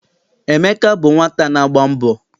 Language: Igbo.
Emeka bụ nwata na-agba mbọ.